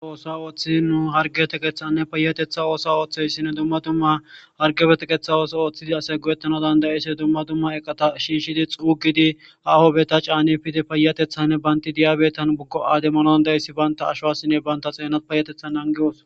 A oosa ooththii nu hargetekeththanne payatetha oosa ooththeyssinne dumma dumma hargefetekeththa ooso ooththidi ase guyetano dandayise dumma dumma eqata shiishidi xuugidi ha hopbeta caane pidi paayatethanne baynti diyabeetan buggo ademanon da7issi baynta ashossinne baynta xeenat payatethan angiyoos